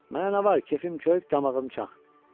Mənə nə var, kefim kök, damağım çaq.